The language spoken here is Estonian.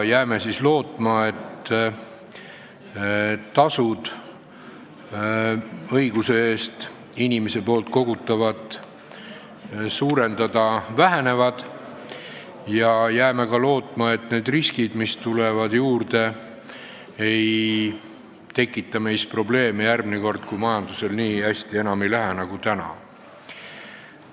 Jääme siis lootma, et tasud õiguse eest inimese poolt kogutavat suurendada vähenevad, ja jääme ka lootma, et need riskid, mis tulevad juurde, ei tekita probleeme järgmine kord, kui majandusel ei lähe enam nii hästi nagu täna.